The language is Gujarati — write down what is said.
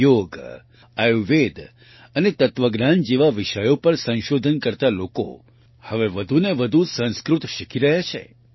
યોગ આયુર્વેદ અને તત્વજ્ઞાન જેવા વિષયો પર સંશોધન કરતા લોકો હવે વધુ ને વધુ સંસ્કૃત શીખી રહ્યા છે